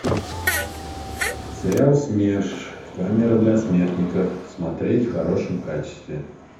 сериал смерш камера для смертников смотреть в хорошем качестве